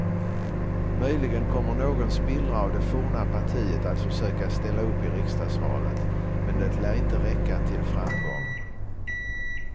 Möjligen kommer någon spillra av det forna partiet att försöka ställa upp i riksdagsvalet, men det lär inte räcka till framgång.